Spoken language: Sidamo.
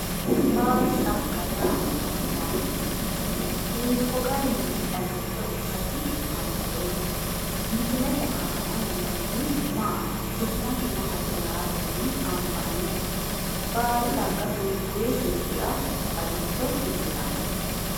Baadi xagga yaa mayyaate? Hiikko garinni xagicho ikkasi anfeemmo? Misilete aana noohu maati? Su'masi maati yaatenni anfanniho? Baadi xagga hiikkuyi dhibbira xagicho ikkitanno?